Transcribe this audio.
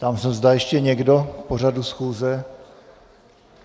Ptám se, zda ještě někdo k pořadu schůze.